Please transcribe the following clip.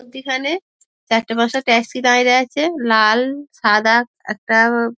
মধ্যিখানে চারটে পাঁচটা ট্যাক্সি দাঁড়িয়ে আছে। লাল সাদা একটা --